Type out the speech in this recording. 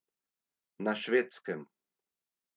Na Švedskem.